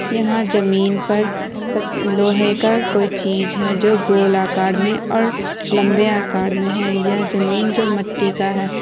यहाँ जमीन पर लोहे का कोई चीज है जो गोल आकार में और लम्बे आकार में है यह जमीन जो मट्टी का है।